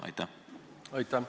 Aitäh!